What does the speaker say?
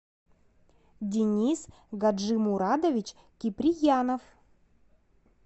денис гаджимурадович киприянов